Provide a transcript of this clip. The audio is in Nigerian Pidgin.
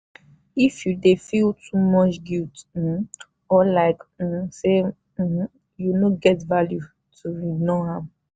if you dey feel too much guilt um or like um say um you no get value no ignore am.